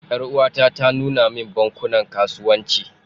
Yar'uwata ta nuna min bankunan kasuwanci.